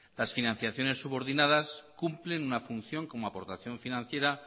las financiaciones subordinadas cumplen una función como aportación financiera